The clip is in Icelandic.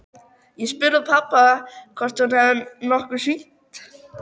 Ég spurði pabba hvort hún hefði nokkuð hringt.